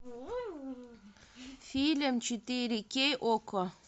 фильм четыре кей окко